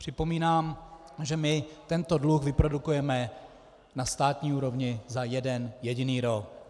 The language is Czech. Připomínám, že my tento dluh vyprodukujeme na státní úrovni za jeden jediný rok.